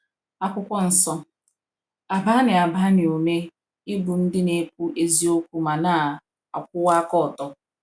akwụkwọ nsọ- agba anyị agba anyị ume ịbụ ndị na - ekwu eziokwu ma na - akwụwa aka ọtọ.